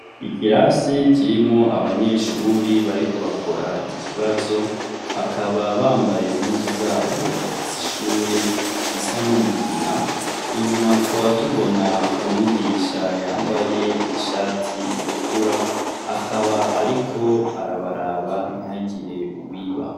Ikirasi kirimwo abanyeshuri bariko bakora ikibazo bakaba bambaye impuzu zabo z'ishuri zisa n'umugina inyuma tukaba tubona umwigisha yambaye ishati itukura akaba ariko arabaraba ntihagire uwiba.